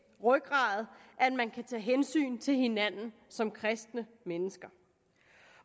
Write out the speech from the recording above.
rygrad at man kan tage hensyn til hinanden som kristne mennesker